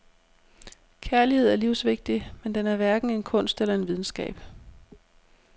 Kærlighed er livsvigtig, men den er hverken en kunst eller en videnskab.